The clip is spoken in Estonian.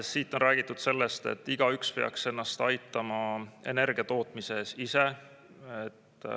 Siin on räägitud sellest, et igaüks peaks ennast aitama energia tootmises ise.